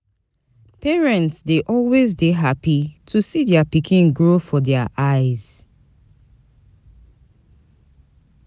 Parents dey always dey happy to see their pikin grow for their eyes